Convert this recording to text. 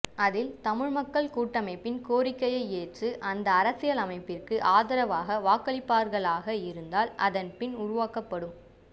அதில் தமிழ் மக்கள் கூட்டமைப்பின் கோரிக்கையைஏற்று அந்த அரசியலமைப்பிற்கு ஆதரவாக வாக்களிப்பார்களாக இருந்தால் அதன் பின் உருவாக்கப்படும்